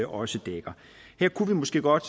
også dækker her kunne vi måske godt